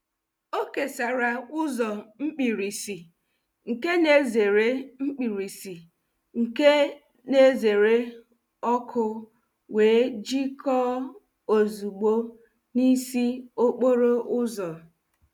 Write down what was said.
O kesara ụzọ mkpirisi nke na-ezere mkpirisi nke na-ezere ọkụ wee jikọọ ozugbo n'isi okporo ụzọ.